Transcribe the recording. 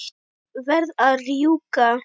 Verð að rjúka.